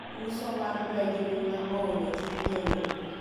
uso mar rej luna oolo chuny jolup